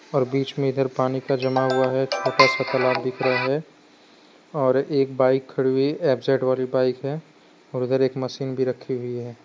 और बीच में इधर पानी का जमा हुआ है छोटा सा तालाब दिख रहा है और एक बाइक खड़ी हुई एफ_जेड वाली बाइक है और उधर एक मशीन भी रखी हुई है।